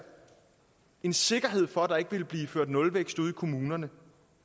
en sikkerhed for at der ikke ville blive ført nulvækst ude i kommunerne